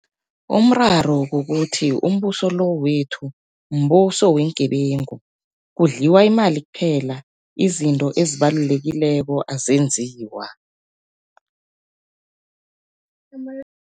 Umraro kukuthi umbuso lo wethu mbuso weengebengu, kudliwa imali kuphela izinto ezibalulekileko azenziwa.